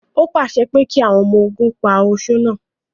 Ó pàṣẹ pé kí àwọn ọmọ ogun pa oṣó náà!